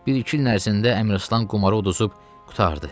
Bir-iki ilin ərzində Əmraslan qumarı udub qurtardı.